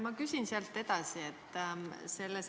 Ma küsin siit edasi.